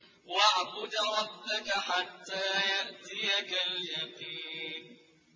وَاعْبُدْ رَبَّكَ حَتَّىٰ يَأْتِيَكَ الْيَقِينُ